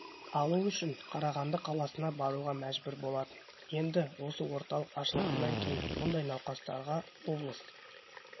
алу үшін қарағанды қаласына баруға мәжбүр болатын енді осы орталық ашылғаннан кейін мұндай науқастарға облыс